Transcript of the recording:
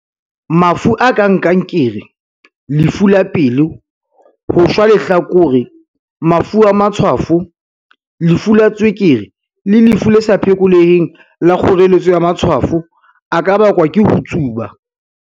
"Mafu a kang kankere, lefu la pelo, ho shwa lehlakore, mafu a matshwafo, lefu la tswekere le lefu le sa phekoleheng la kgoreletso ya matshwafo a ka bakwa ke ho tsuba."